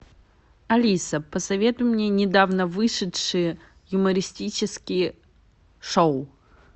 алиса посоветуй мне недавно вышедшие юмористические шоу